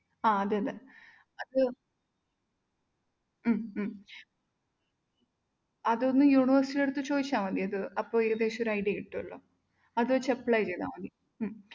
ആഹ് അതെയതെ അത് ഉം ഉം അതൊന്ന് university ടടുത്ത് ചോദിച്ചാല്‍ മതി. അപ്പൊ ഏകദേശംഒരു idea കിട്ടുമല്ലോ. അത് വെച്ച് apply ചെയ്‌താല്‍ മതി ഉം.